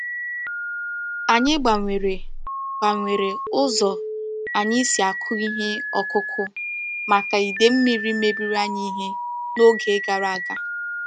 Anyị gbanwere gbanwere ụzọ anyị si akụ ihe ọkụ́kụ́ maka ide mmírí mebiri anyị ihe n’oge gara aga.